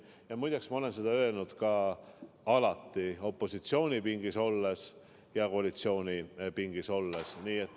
Ja muide, ma olen seda öelnud alati, nii opositsioonipingis kui ka koalitsioonipingis olles.